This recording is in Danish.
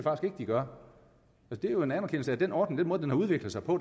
de gør det er jo en anerkendelse af at den ordning har udviklet sig på